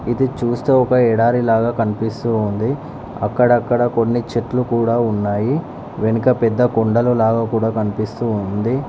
ఇది చూస్తే ఒక ఎడారిలాగా కనిపిస్తూ ఉంది. అక్కడ అక్కడ కొన్ని చెట్లు కూడా ఉన్నాయి వెనుక పెద్ద కొండలు లాగా కూడా కనిపిస్తు ఉంది.